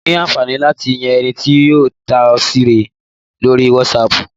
O ní àǹfààní láti yan ẹni tí yóò rí tatọ́ọ̀sì rẹ lórí Wasapu